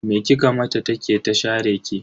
Me kika mata ta ke ta share ki?